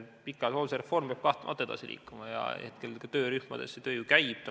Pikaajalise hoolduse reform peab kahtlemata edasi liikuma ja hetkel töörühmades töö ju käib.